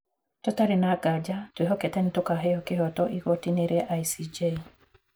Tũtarĩ na nganja ,twĩhokete nĩtũkaheo kĩhooto igoti-inĩ rĩa ICJ.